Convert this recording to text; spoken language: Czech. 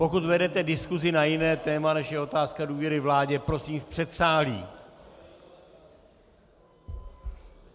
Pokud vedete diskusi na jiné téma, než je otázka důvěry vládě, prosím v předsálí.